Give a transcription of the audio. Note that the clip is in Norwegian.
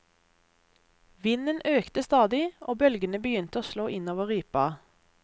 Vinden økte stadig, og bølgene begynte å slå inn over ripa.